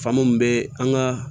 Faamamu bɛ an ka